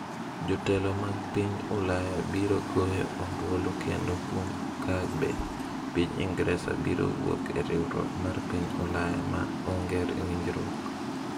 Jotelo mag piny Ulaya biro goyo ombulu kendo kuom ka be piny Ingresa biro wuok e riwruok mar piny Ulaya ma onge winjruok.